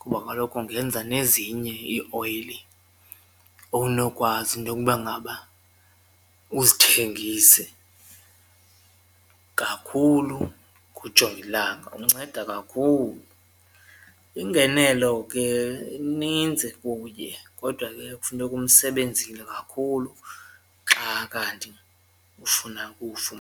kuba kaloku ungenza nezinye ioyile owunokwazi intoba ngaba uzithengise kakhulu kujongilanga unceda kakhulu. Ingenelo ke inintsi kuye kodwa ke kufuneka umsebenzile kakhulu xa kanti ufuna .